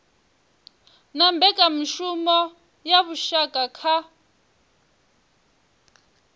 na mbekanyamushumo ya vhushaka kha